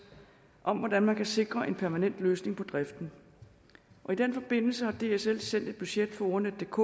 om hvordan man kan sikre en permanent løsning på driften i den forbindelse har dsl sendt et budget for ordnetdk